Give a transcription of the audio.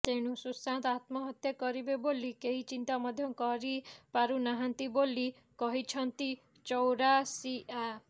ତେଣୁ ସୁଶାନ୍ତ ଆତ୍ମହତ୍ୟ କରିବେ ବୋଲି କେହି ଚିନ୍ତା ମଧ୍ୟ କରି ପାରୁନାହାନ୍ତି ବୋଲି କହିଛନ୍ତି ଚୌରାସିଆ